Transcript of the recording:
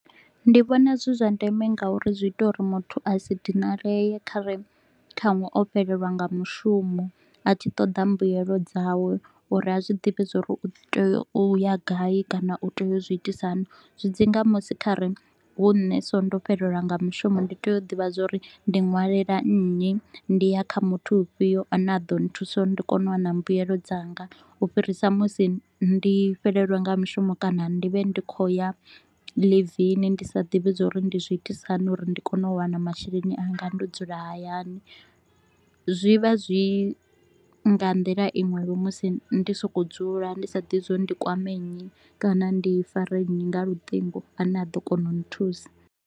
Ndi vhona zwi zwa ndeme ngauri zwi ita uri muthu a si dinalee khare khanwe o fhelelwa nga mushumo, a tshi ṱoḓa mbuelo dzawe uri a zwi ḓivhe zwa uri u tea u ya gai kana u tea u zwi itisa hani. Zwi dzi nga musi kha re hu nne so ndo fhelelwa nga mushumo ndi tea u ḓivha zwa uri ndi ṅwalela nnyi, ndi ya kha muthu u fhio a ne a ḓo nthusa uri ndi kone u wana mbuyelo dzanga. U fhirisa musi ndi fhelelwe nga mushumo kana ndi vhe ndi kho u ya ḽivini ndi sa ḓivhi zwauri ndi zwiitisa hani uri ndi kone u wana masheleni anga ndo dzula hayani, zwi vha zwi nga nḓila iṅwevho musi ndo sokou dzula ndi sa ḓivhi zwa uri ndi kwame nnyi kana ndi fare nnyi nga luṱingo a ne a ḓo kona u nthusa.